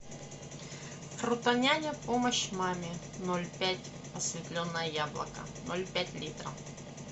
фруто няня помощь маме ноль пять осветленное яблоко ноль пять литра